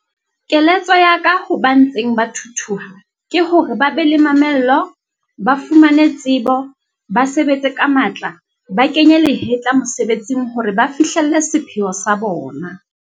Keletso ya ka ho ba ntseng ba thuthuha ke hore ba be le mamello, ba fumane tsebo, ba sebetse ka matla, ba kenye lehetla mosebetsing hore ba fihlelle sepheo sa bona.